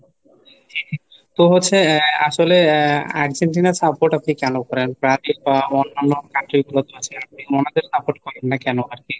তো হচ্ছে আসলে আহ আর্জেন্টিনার support আপনি কেন করেন? বা অন্যান্য country গুলো তো আছে. আপনি ওনাদের support করেন না কেন আর কি?